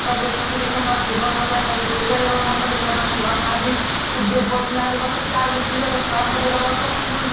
बादल पंखी देखे में बड़ा सुघर लागता चार गो पिलर पे खड़ा कर देले बाड़ स फूल --